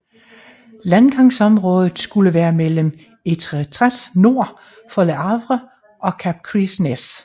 Landgangsområdet skulle være mellem Étretat nord for Le Havre og Cap Gris Nez